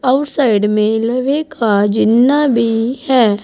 आऊर साइड में लोहे का जिन्ना भी है।